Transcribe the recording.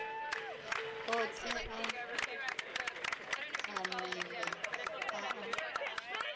othe a phanele a a